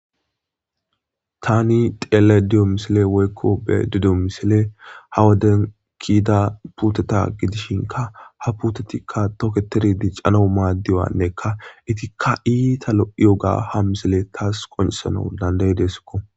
tani xeelaydda diyo misiley woykko be'ayiddo misiley ha woden kitta puteta gidishinkka ha puutetikka toketeri dicanaw maddiyannekka itikka itta lo'iyogga ha misile taas qoncissanaw danday'ideesikko